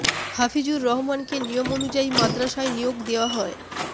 হাফিজুর রহমানকে নিয়ম অনুযায়ী মাদ্রাসায় নিয়োগ দেয়া হয়